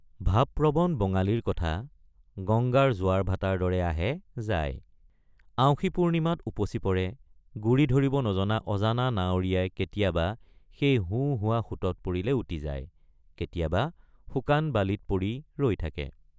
ভাবপ্ৰবণ বঙালীৰ কথা গঙ্গাৰ জোৱাৰভাটাৰ দৰে আহে যায়—আঁউসীপূৰ্ণিমাত উপচি পৰে গুৰি ধৰিব নজনা অজানা নাৱৰীয়াই কেতিয়াবা সেই হো হোৱা সোঁতত পৰিলে উটি যায় কেতিয়াবা শুকান বালিত পৰি ৰৈ থাকে।